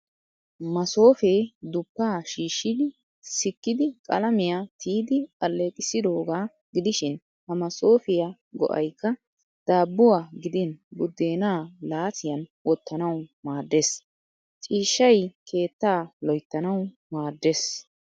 Masoofee dupaa shiishshi sikkidi qalamiya tiyidi alleeqissidoogaa gidishin ha masoofiya go'ayikka daabbuwa gidin buddeenaa laasiyan wottanawu maaddes. Ciishshay keettaa loyittanawu maaddes.